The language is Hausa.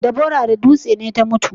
Deborah da dutse ne ta mutu?